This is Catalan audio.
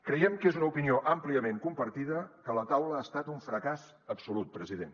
creiem que és una opinió àmpliament compartida que la taula ha estat un fracàs absolut president